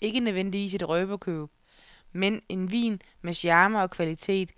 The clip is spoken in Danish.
Ikke nødvendigvis et røverkøb, men en vin med charme og kvalitet,